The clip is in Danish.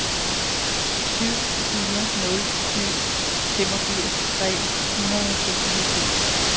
syv fire nul syv femogfirs tre hundrede og seksoghalvfems